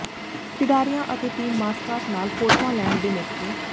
ਖਿਡਾਰੀਆਂ ਅਤੇ team mascot ਨਾਲ ਫੋਟੋਆਂ ਲੈਣ ਦੇ ਮੌਕੇ